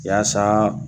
Yaasa